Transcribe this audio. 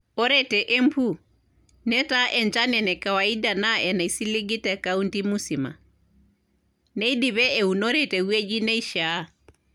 Ore te Embu, netaa enchan ene kawaida naa enaisiligi te kaunti musima, neidipe eunore te wueji neishiaa.